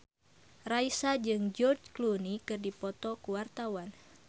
Raisa jeung George Clooney keur dipoto ku wartawan